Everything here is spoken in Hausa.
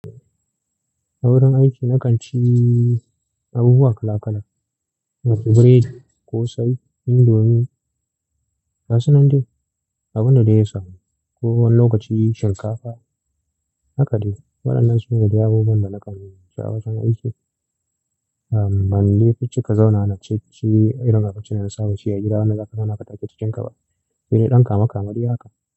A wurin aiki na kan ci abubuwa kala kala, masu bread, ƙosai, indomie, gasu nan de, abunda dai ya samu. Ko wani lokaci shinkafa. Haka dai. Waɗannan su ne dai abubuwan da na kanyi a wajen aiki. Ahmm, ban dai fi ci ka zaunawa na ci ci irin abinci na da saba ci a gida wanda zaka zauna ka take cikin ka ba. Sai dai ɗan kame kame dai haka.